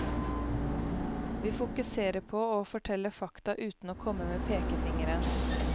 Vi fokuserer på å fortelle fakta, uten å komme med pekefingeren.